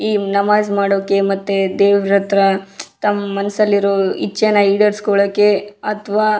ಈ ನಮಾಜ್ ಮಾಡೋಕೆ ಮತ್ತೆ ದೇವ್ರತ್ರ ತಮ್ಮ ಮನಸ್ಸಲ್ಲಿರೋ ಇಚ್ಚೇನ ಈಡೇರಿಸ್ಕೊಳ್ಳೋಕೆ ಅಥವಾ--